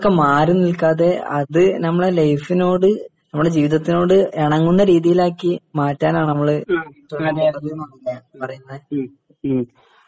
മാറിനിൽക്കാതെ അത് നമ്മുടെ ലൈഫിനോട് നമ്മുടെ ജീവിതത്തിനോട് ഇണങ്ങുന്ന രീതിയിലാക്കി മാറ്റാനാണ് നമ്മള്